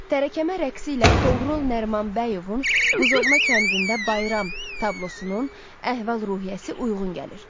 Tərəkəmə rəqsi ilə Toğrul Nərimanbəyovun Buzovna kəndində Bayram tablosunun əhval-ruhiyyəsi uyğun gəlir.